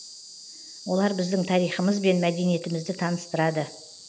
олар біздің тарихымыз бен мәдениетімізді таныстырады